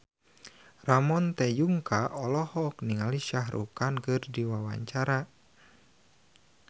Ramon T. Yungka olohok ningali Shah Rukh Khan keur diwawancara